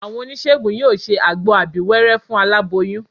Àwọn oníṣègùn yóò ṣe àgbo abíwẹ́rẹ́ fún aláboyún